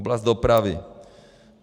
Oblast dopravy.